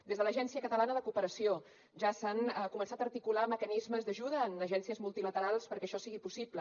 des de l’agència catalana de cooperació ja s’han començat a articular mecanismes d’ajuda en agències multilaterals perquè això sigui possible